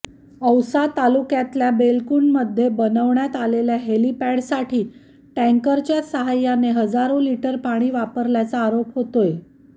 औसा तालुक्यातल्या बेलकुंडमध्ये बनवण्यात आलेल्या हेलिपॅडसाठी टँकरच्या साहाय्यानं हजारो लीटर पाणी वापरल्याचा आरोप होतोय